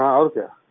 हाँ और क्या